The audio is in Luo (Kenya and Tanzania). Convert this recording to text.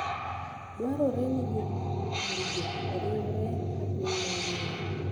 Dwarore ni jopurgo oriwre e piny mangima.